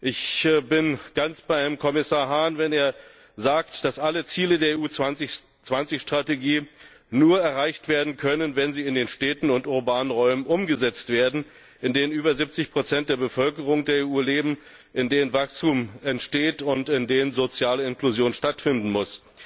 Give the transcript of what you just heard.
Ich bin ganz bei Herrn Kommissar Hahn, wenn er sagt, dass alle Ziele der EU 2020 Strategie nur erreicht werden können, wenn sie in den Städten und urbanen Räumen umgesetzt werden, in denen über 70 der Bevölkerung der EU leben, in denen Wachstum entsteht und in denen soziale Inklusion stattfinden muss.